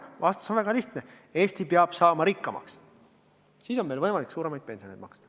Vastus on väga lihtne: Eesti peab saama rikkamaks, siis on meil võimalik suuremaid pensione maksta.